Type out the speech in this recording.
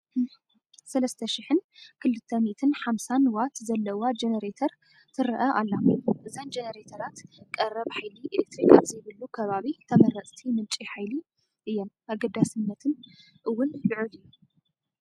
3250 ዋት ዘለዋ ጀነረተር ትርአ ኣላ፡፡ እዘን ጀነረተራት ቀረብ ሓይሊ ኤለክትሪክ ኣብዘይብሉ ከባቢ ተመረፅቲ ምንጪ ሓይሊ እየን፡፡ ኣገዳስነተን እውን ልዑል እዩ፡፡